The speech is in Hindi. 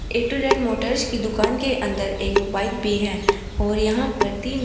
ए टु जेड मोटर्स की दुकान के अंदर एक बाइक भी है और यहां पर तीन--